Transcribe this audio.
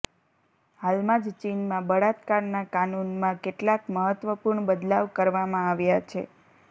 હાલમાં જ ચીનમાં બળાત્કારના કાનૂનમાં કેટલાક મહત્વપૂર્ણ બદલાવ કરવામાં આવ્યા છે